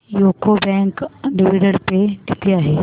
UCO bank dividend pay किती आहे